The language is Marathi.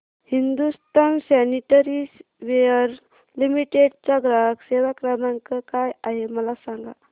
हिंदुस्तान सॅनिटरीवेयर लिमिटेड चा ग्राहक सेवा क्रमांक काय आहे मला सांगा